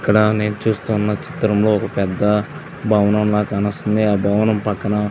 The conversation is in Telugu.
ఇక్కడ నేను చూస్తున్న చిత్రము ఒక భవనం లాగా కానవస్తుంది. ఆ భవనం పక్కన --